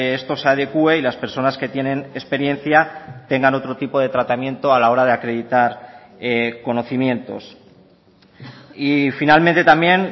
esto se adecúe y las personas que tienen experiencia tengan otro tipo de tratamiento a la hora de acreditar conocimientos y finalmente también